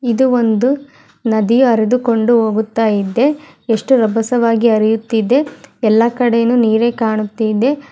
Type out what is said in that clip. ಇದು ಒಂದು ನದಿಯು ಹರಿದು ಕೊಂಡು ಹೋಗುತ್ತಾ ಇದೆ.